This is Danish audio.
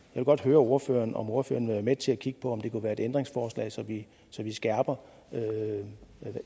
vil godt høre ordføreren om ordføreren vil være med til at kigge på om dette kunne være et ændringsforslag så vi skærper